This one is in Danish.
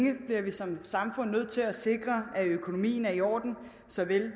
bliver vi som samfund nødt til at sikre at økonomien er i orden såvel